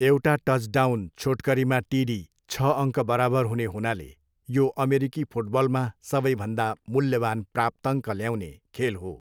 एउटा टचडाउन छोटकरीमा टिडी छ अङ्क बराबर हुने हुनाले यो अमेरिकी फुटबलमा सबैभन्दा मूल्यवान प्राप्ताङ्क ल्याउने खेल हो।